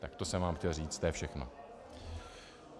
Tak to jsem vám chtěl říct, to je všechno.